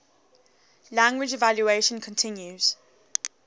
language evolution continues